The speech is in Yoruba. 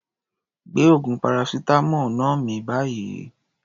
Gbé oògùn paracetamol náà mì báyìí.